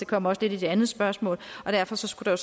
kommer også lidt i det andet spørgsmål derfor skulle der